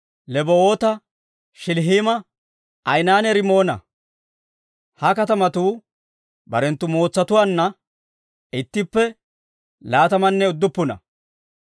Lebaawoota, Shilihiima, Ayinanne Rimoona. Ha katamatuu barenttu mootsatuwaanna ittippe laatamanne udduppuna.